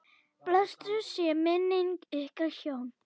Blessuð sé minning ykkar hjóna.